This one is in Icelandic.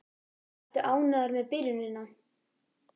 Ertu ánægður með byrjunina?